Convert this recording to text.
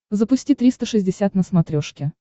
запусти триста шестьдесят на смотрешке